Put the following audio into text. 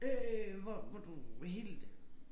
Øh hvor hvor du helt